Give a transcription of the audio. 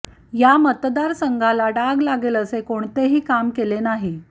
या मतदारसंघाला डाग लागेल असे कोणतेही काम केले नाही